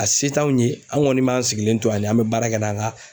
A se t'anw ye an' ŋɔni b'an sigilen to ani an be baara kɛ n'an ka